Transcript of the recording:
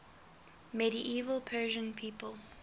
medieval persian people